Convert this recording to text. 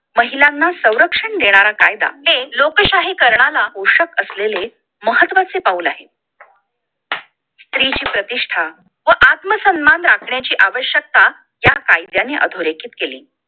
महिलांना संरक्षण देणारा कायदा लोकशाहीकरणाला पोषक असलेले महत्वाचे पाऊल आहे स्त्रीची प्रतिष्ठा आत्मसन्मान राखण्याची आवश्यकता या कायद्याने अधोरेखित केली